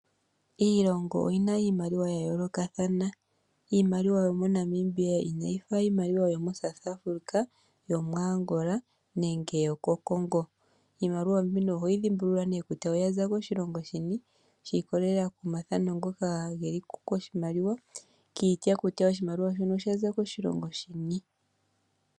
Iilongo oyina iimaliwa ya yoolokathana. Iimaliwa yo moNamibia inayi fa iimaliwa yoko South Africa, yomu Angola nenge yoko Congo. Iimaliwa mbika oho yi dhimbulula ne kutya oyaza koshilongo shini, shiikololela komathano ngoka geliko koshimaliwa, kiitya kutya oshimaliwa shika oshaza koshilongo shini.